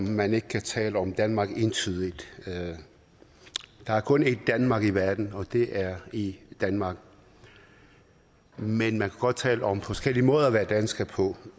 at man ikke kan tale om danmark som noget entydigt der er kun et danmark i verden og det er i danmark men man kan godt tale om forskellige måder at være dansker på